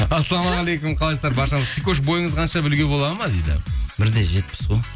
ассалаумағалейкум қалайсыздар баршаңыз сикош бойыңыз қанша білуге болады ма дейді бір де жетпіс қой